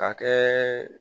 Ka kɛ